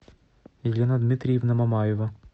елена дмитриевна мамаева